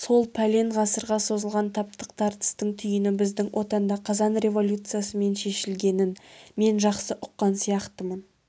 сол пәлен ғасырға созылған таптық тартыстың түйіні біздің отанда қазан революциясымен шешілгенін мен жақсы ұққан сияқтымын